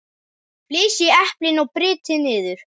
Flysjið eplin og brytjið niður.